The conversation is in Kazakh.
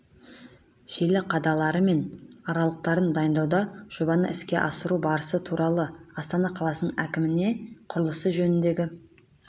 желі қадалары мен арқалықтарын дайындауда жобаны іске асыру барысы туралы астана қаласының әкіміне құрылысы жөніндегі